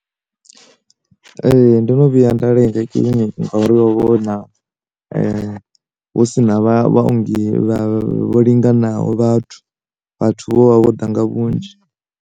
Ee, ndo no vhuya nda lenga kiliniki ngauri ho vha huna hu si na vha vhaongi vho linganaho vhathu, vhathu vho vha vho ḓa nga vhunzhi.